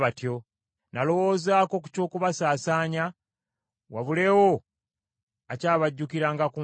Nalowoozaako ku ky’okubasaasaanya wabulewo akyabajjukiranga ku nsi.